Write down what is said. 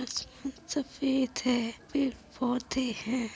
आसमान सफ़ेद है पेड़ पौधे हैं।